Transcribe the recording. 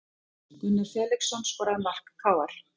Gunnar Felixson skoraði mark KR